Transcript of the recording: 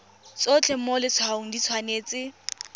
tsotlhe mo letshwaong di tshwanetse